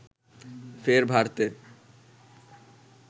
ফের ভারতে